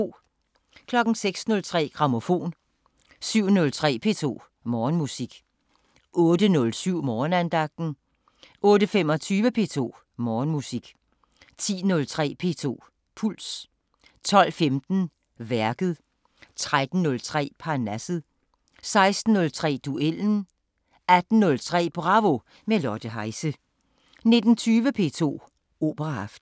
06:03: Grammofon 07:03: P2 Morgenmusik 08:07: Morgenandagten 08:25: P2 Morgenmusik 10:03: P2 Puls 12:15: Værket 13:03: Parnasset 16:03: Duellen 18:03: Bravo – med Lotte Heise 19:20: P2 Operaaften